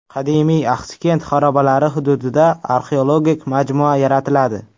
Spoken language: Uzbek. Qadimiy Axsikent xarobalari hududida arxeologik majmua yaratiladi.